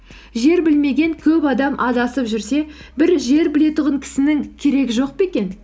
жер білмеген көп адам адасып жүрсе бір жер білетұғын кісінің керегі жоқ па екен